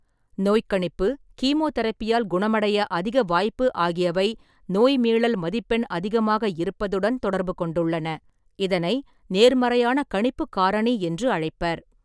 நோய் கணிப்பு, கீமோதெரப்பியால் குணமடைய அதிக வாய்ப்பு ஆகியவை நோய் மீளல் மதிப்பெண் அதிகமாக இருப்பதுடன் தொடர்புகொண்டுள்ளன, இதனை நேர்மறையான கணிப்புக் காரணி என்று அழைப்பர்.